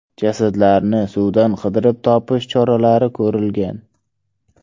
Jasadlarni suvdan qidirib topish choralari ko‘rilgan.